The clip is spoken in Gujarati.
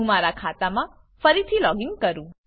હું મારા ખાતામાં ફરીથી લોગીન કરું